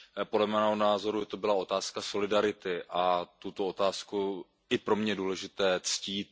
Podle mého názoru to byla otázka solidarity a tuto otázku je pro mne důležité ctít.